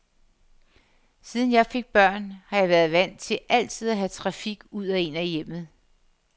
Siden jeg fik børn, har jeg været vant til altid at have trafik ud og ind af hjemmet.